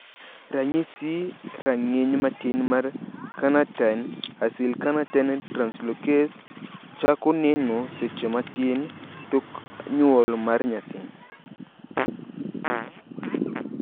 Ranyisi rang`iny matin mar Carnitine acylcarnitine translocase chako neno seche matin tok nyuol mar nyathi.